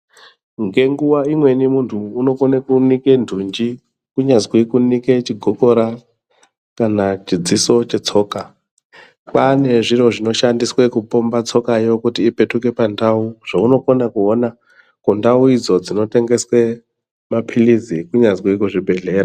Ngenguwa imweni muntu unokona kunike ntunji kunyazi kunike chigokora kana chidziso chetsoka. Pane zviro zvinoshandiswa kupomba tsokayo ipetuke pandau zvaunokona kuona kundau idzo dzinotengeswa mapirizi kunyazi kuzvibhedhlera.